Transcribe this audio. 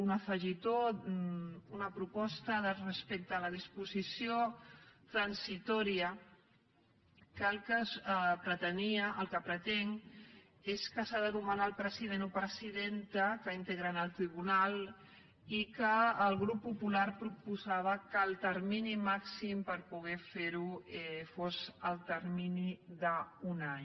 un afegitó una proposta respecte a la disposició transitòria que el que pretenia el que pretén és que s’ha de nomenar el president o presidenta que integra el tribunal i que el grup popular proposava que el termini màxim per poder fer ho fos el termini d’un any